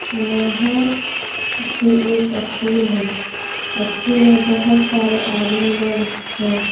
यहां पे एक स्कूल है स्कूल में बहुत सारे आदमी लोग हैं।